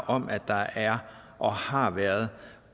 om at der er og har været